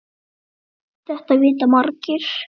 Þetta vita margir.